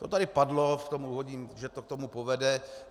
To tady padlo v tom úvodním, že to k tomu povede.